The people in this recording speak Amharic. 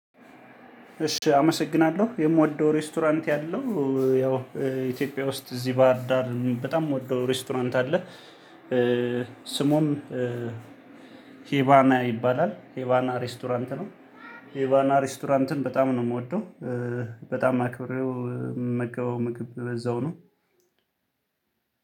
እሺ አመሰግናለሁ። የምወደው ሬስቶራንት ያለው ያው ኢትዮጵያ ውስጥ እዚህ ባህር ዳር በጣም የምወደው ሬስቶራንት አለ። ስሙም ሄባና ይባላል። ሄባና ሬስቶራንት ነው። ሄባና ሬስቶራንትን በጣም ነው የምወደው። በጣም አክብሬው ምመገበው ምግብ በዛው ነው።